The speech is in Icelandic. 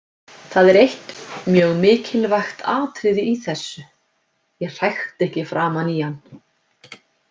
Það er eitt mjög mikilvægt atriði í þessu: Ég hrækti ekki framan í hann.